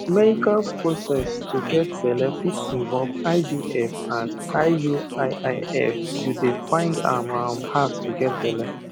meical process to get belle fit involve ivf and iuiif you dey find am um hard to get belle